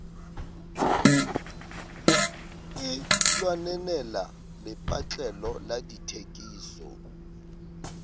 e lwanenela lepatlelo la dithekiso